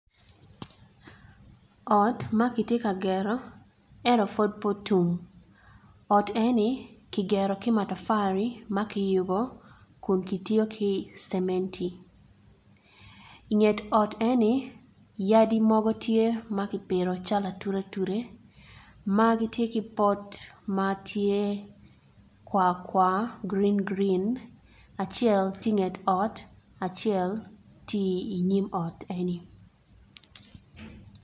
Ot makitye ka gero ento pud pe otum oti eni kigero ki matapari makiyubo kun kitiyo ki cementi inget ot eni yadi mogo tye makipito calo ature ature magitye ki pot matye kwar kwar green green acel tye i nget ot acel tye i nyim ot eni.